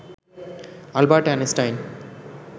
Albert Einstein